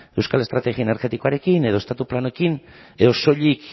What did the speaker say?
euskal estrategia energetikoarekin edo estatu planekin edo soilik